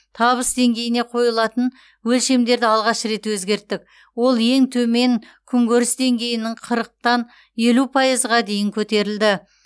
табыс деңгейіне қойылатын өлшемдерді алғаш рет өзгерттік ол ең төмен күнкөріс деңгейінің қырықтан елу пайызға дейін көтерілді